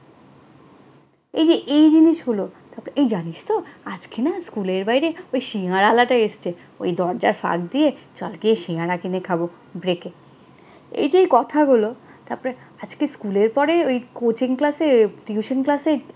এই যে এই জিনিসগুলো তারপর এই জানিস তো, আজকে না স্কুলের বাইরে ওই সিঙ্গারাওয়ালাটা এসেছে। ওই দরজার ফাঁক দিয়ে চল গিয়ে সিঙ্গারা কিনে খাবো break এ। এই যে এই কথাগুলো, তারপরে আজকে স্কুলের পরে coaching ক্লাসে tuition ক্লাসে